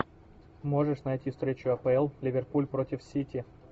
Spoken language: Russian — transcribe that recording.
можешь найти встречу апл ливерпуль против сити